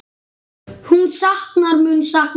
En hún mun sakna hans.